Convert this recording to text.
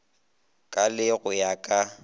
ka le go ya ka